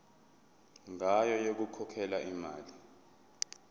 ngayo yokukhokhela imali